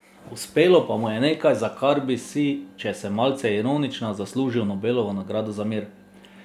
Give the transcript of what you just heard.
Uspelo pa mu je nekaj, za kar bi si, če sem malce ironična, zaslužil Nobelovo nagrado za mir.